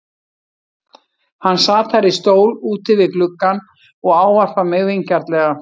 Hann sat þar í stól úti við gluggann og ávarpar mig vingjarnlega.